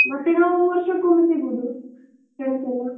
ಮತ್ತೆ ನಾವು ವರ್ಷಕೊಮ್ಮೆ ಸಿಗುದು, friends ಎಲ್ಲ.